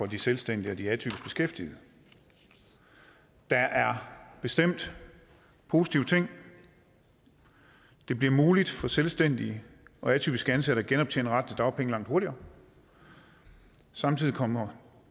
de selvstændige og de atypisk beskæftigede der er bestemt positive ting det bliver muligt for selvstændige og atypisk ansatte at genoptjene retten til dagpenge langt hurtigere samtidig kommer